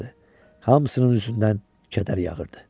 Hamısının üzündən kədər yağırdı.